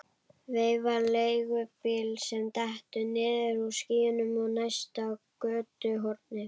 Veifar leigubíl sem dettur niður úr skýjunum á næsta götuhorni.